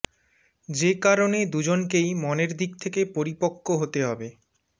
যে কারণে দুজনকেই মনের দিক থেকে পরিপক্ক হতে হবে